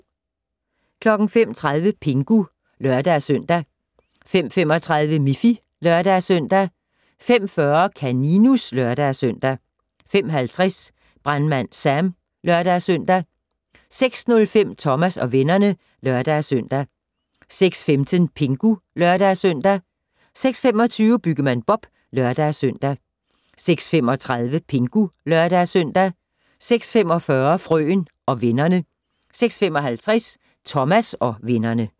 05:30: Pingu (lør-søn) 05:35: Miffy (lør-søn) 05:40: Kaninus (lør-søn) 05:50: Brandmand Sam (lør-søn) 06:05: Thomas og vennerne (lør-søn) 06:15: Pingu (lør-søn) 06:25: Byggemand Bob (lør-søn) 06:35: Pingu (lør-søn) 06:45: Frøen og vennerne 06:55: Thomas og vennerne